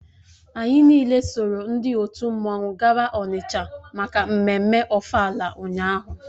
Anyị niile soro ndị otu mmanwụ gawa Onitsha maka mmemme ofala ụnyahụ